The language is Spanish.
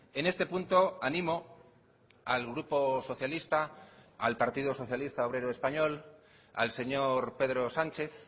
en este punto animo al grupo socialista al partido socialista obrero español al señor pedro sánchez